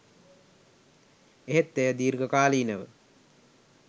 එහෙත් එය දීර්ඝ කාලීනව